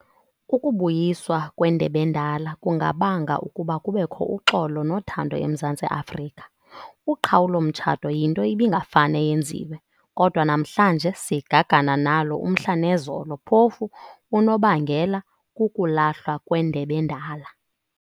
Ukubuyiswa kweNDEB'ENDALA kungabanga ukuba kubekho uxolo nothando eMzantai Afrika.Uqhawulo mtshato yinto ibingafane yenziwe, kodwa namhlanje sigagana nalo umhla nezolo phofu unobangela kukulahlwa kwendeb'endala.